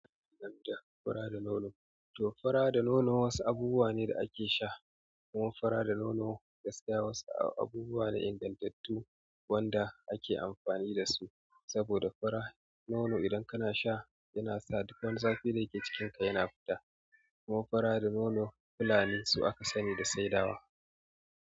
Fura da nono, to fura da nono wasu abubuwa ne da ake sha. Kaman fura da nono gaskiya wasu abubuwa ne ingantattu wanda ake amfani da su saboda fura nono idan kana sha yana sa duk wani zafi da yake cikinka yana fita. Kuma fura da nono fulani su aka sani da saidawa.